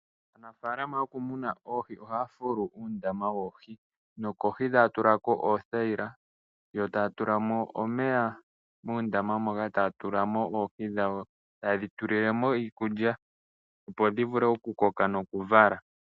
Aanafaalama yokumuna oohi ohaya fulu uundama woohi, nokohi taya tula ko oothayila, yo taya tula mo omeya muundama moka taya tula mo oohi dhawo, taye dhitulile mo iikulya opo dhivule okukoka nokuvala.